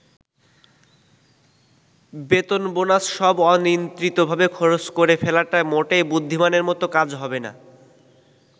বেতন-বোনাস সব অনিয়ন্ত্রিতভাবে খরচ করে ফেলাটা মোটেই বুদ্ধিমানের মতো কাজ হবে না।